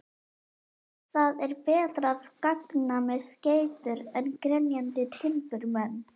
Það er betra að ganga með geitur en grenjandi timburmenn.